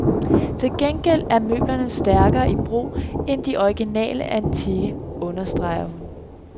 Til gengæld er møblerne stærkere i brug end de originale antikke, understreger hun.